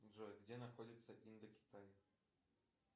джой где находится индокитай